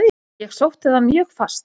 Ég sótti það mjög fast.